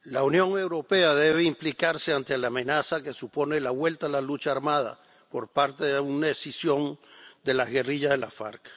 Señor presidente, la Unión Europea debe implicarse ante la amenaza que supone la vuelta a la lucha armada por parte de una escisión de la guerrilla de las FARC.